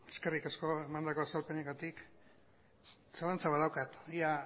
eskerrik asko emandako azalpenengatik zalantza bat daukat ia